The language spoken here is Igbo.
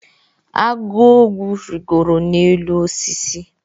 agu ogbu rịgoro n’elu osisi